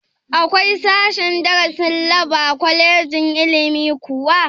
Akwai sashen darasin lab a kwalejin ilimi kuwa?